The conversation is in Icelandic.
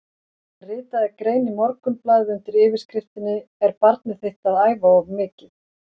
Hann ritaði grein í Morgunblaðið undir yfirskriftinni Er barnið þitt að æfa of mikið?